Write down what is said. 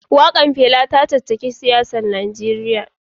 Wakar Fela ta caccaki 'yan siyasar Najeriya